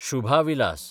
Shubha Vilas